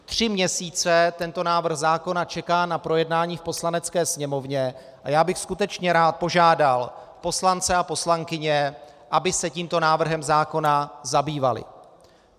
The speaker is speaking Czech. Tři měsíce tento návrh zákona čeká na projednání v Poslanecké sněmovně a já bych skutečně rád požádal poslance a poslankyně, aby se tímto návrhem zákona zabývali.